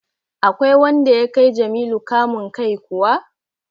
Akwai wanda ya kai Jamilu kamun kai kuwa?